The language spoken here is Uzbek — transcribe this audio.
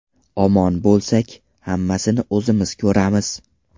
Omon bo‘lsak, hammasini o‘zimiz ko‘ramiz...